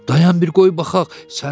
Dayan bir qoy baxaq.